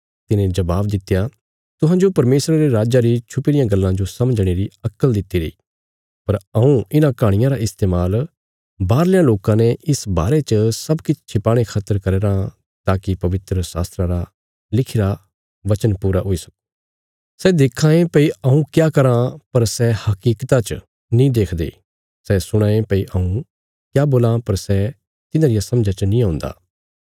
तिने जवाब दित्या तुहांजो परमेशरा रे राज्जा री छुपी रियां गल्लां जो समझणे री अक्कल दितिरी पर हऊँ इन्हां कहाणियां रा इस्तेमाल बाहरल्यां लोकां ते इस बारे च सब किछ छिपाणे खातर करया राँ ताकि पवित्र शात्रा रा लिखिरा पूरा हुई सक्को सै देखां ये भई हऊँ क्या कराँ पर सै हकीकता च नीं देखदे सै सुणां ये भई हऊँ क्या बोलां पर सै तिन्हां रिया समझा च नीं औन्दा